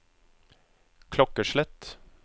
klokkeslett